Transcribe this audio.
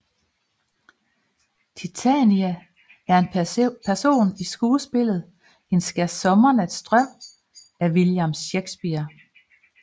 Titania er en person i skuespillet En skærsommernatsdrøm af William Shakespeare